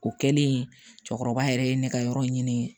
O kɛlen cɛkɔrɔba yɛrɛ ye ne ka yɔrɔ ɲini